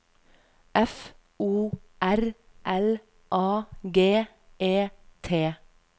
F O R L A G E T